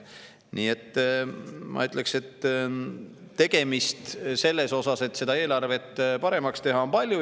" Nii et ma ütleks, et tegemist sellega, et eelarvet paremaks teha, on palju.